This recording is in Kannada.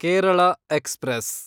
ಕೇರಳ ಎಕ್ಸ್‌ಪ್ರೆಸ್